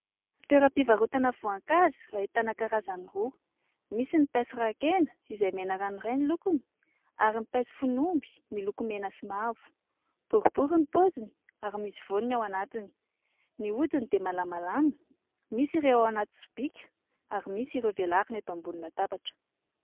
Toeram-pivarotana voankazo ahitana karazany roa. Misy ny paiso rakena izay mena ranoray ny lokony ary ny paiso fon'omby miloko mena sy mavo. Boribory ny paoziny ary misy voany ao anatiny, ny hodiny dia malamalama. Misy ireo ao anaty sobika ary misy ireo velarina eto ambony latabatra.